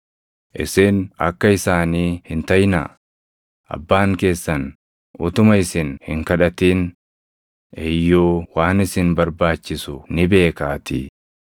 Isin akka isaanii hin taʼinaa; abbaan keessan utuma isin hin kadhatin iyyuu waan isin barbaachisu ni beekaatii.